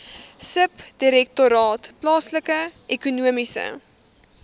subdirektoraat plaaslike ekonomiese